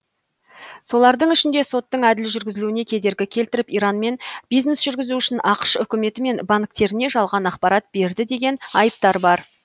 солардың ішінде соттың әділ жүргізілуіне кедергі келтіріп иранмен бизнес жүргізу үшін ақш үкіметі мен банктеріне жалған ақпарат берді деген айыптар бар